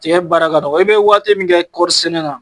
Tigɛ baara ka dɔgɔ. I be waati min kɛ kɔri sɛnɛ na